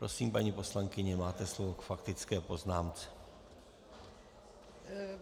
Prosím, paní poslankyně, máte slovo k faktické poznámce.